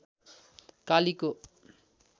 कालीको